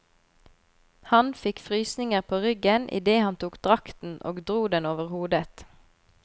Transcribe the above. Han fikk frysninger på ryggen idet han tok drakten og dro den over hodet.